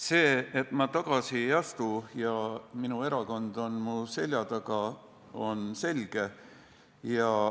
See, et ma tagasi ei astu ja minu erakond on mu selja taga, on selge.